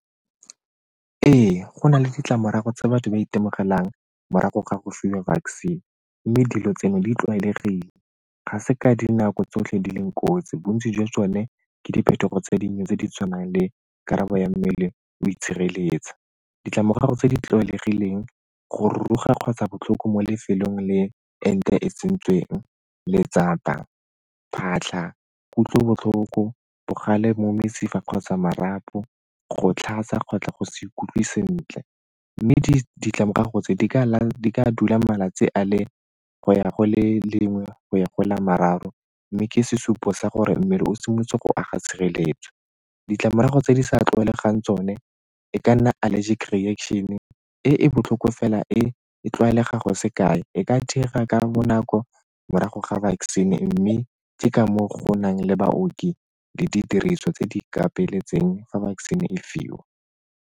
Ee, go na le ditlamorago tse batho ba itemogelang morago ga go fiwa vaccine mme dilo tseno di tlwaelegile. Ga se ka dinako tsotlhe di leng kotsi, bontsi jwa tsone ke diphetogo tse dinnye tse di tshwanang le karabo ya mmele o itshireletsa. Ditlamorago tse di tlwaelegileng, go ruruga kgotsa botlhoko mo lefelong le ente e tsentsweng, letsapa, phatlha, kutlobotlhoko, bogale mo mesifa kgotsa marapo, go tlhatsa kgotsa go sa ikutlwe sentle mme ditlamorago tse di ka dula malatsi a le go ya go le lengwe go ya gola mararo mme ke sesupo sa gore mmele o simolotse go aga tshireletso. Ditlamorago tse di sa tlwaelegang tsone e ka nna allergic reaction-e e e botlhoko fela e e tlwaelega go se kae, e ka dira ka bonako morago ga vaccine mme tse ka mo go nang le baoki le didiriswa tse di ka fa vaccine e fiwa.